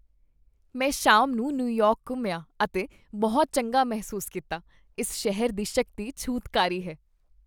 ਮੈਂ ਸ਼ਾਮ ਨੂੰ ਨਿਊਯਾਰਕ ਘੁੰਮਿਆ ਅਤੇ ਬਹੁਤ ਚੰਗਾ ਮਹਿਸੂਸ ਕੀਤਾ। ਇਸ ਸ਼ਹਿਰ ਦੀ ਸ਼ਕਤੀ ਛੂਤਕਾਰੀ ਹੈ।